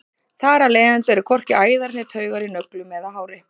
þar af leiðandi eru hvorki æðar né taugar í nöglum eða hári